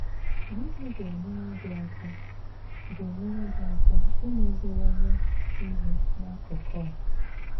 Gịnị ga-enyèrè gị àka ga-enyèrè gị àka ìmezìwànye ìhé n'akùkù a?